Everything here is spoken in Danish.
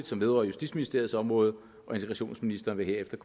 som vedrører justitsministeriets område integrationsministeren vil herefter